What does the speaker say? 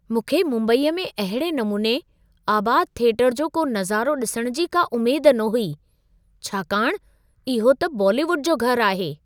मूंखे मुंबईअ में अहिड़े नमूने आबाद थिएटर जो को नज़ारो ॾिसणु जी का उमेद न हुई, छाकाणि इहो त बॉलीवुड जो घरु आहे।